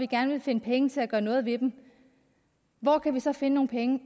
gerne vil finde penge til at gøre noget ved dem hvor kan vi så finde nogle penge